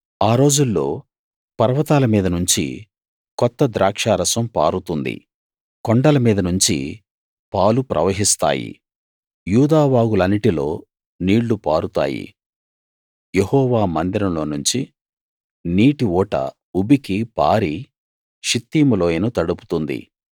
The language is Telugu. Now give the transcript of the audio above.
ఆ రోజుల్లో పర్వతాల మీద నుంచి కొత్త ద్రాక్షారసం పారుతుంది కొండల మీద నుంచి పాలు ప్రవహిస్తాయి యూదా వాగులన్నిటిలో నీళ్లు పారుతాయి యెహోవా మందిరంలో నుంచి నీటి ఊట ఉబికి పారి షిత్తీము లోయను తడుపుతుంది